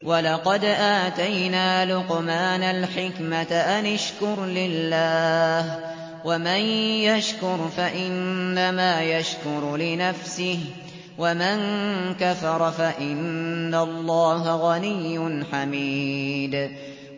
وَلَقَدْ آتَيْنَا لُقْمَانَ الْحِكْمَةَ أَنِ اشْكُرْ لِلَّهِ ۚ وَمَن يَشْكُرْ فَإِنَّمَا يَشْكُرُ لِنَفْسِهِ ۖ وَمَن كَفَرَ فَإِنَّ اللَّهَ غَنِيٌّ حَمِيدٌ